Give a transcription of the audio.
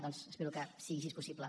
doncs espero que sigui així possible